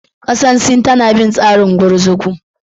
Kasar Sin tana bin tsarin gurguzu.